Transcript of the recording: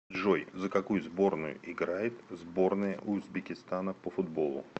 джой за какую сборную играет сборная узбекистана по футболу